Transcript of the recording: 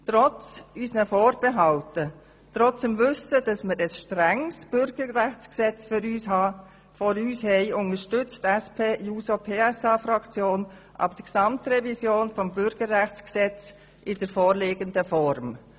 Trotz unserer Vorbehalte und trotz dem Wissen, dass wir ein strenges Bürgerrechtsgesetz vorliegend haben, unterstützt die SP-JUSO-PSA-Fraktion die Gesamtrevision des Bürgerrechtsgesetzes in der vorliegenden Form.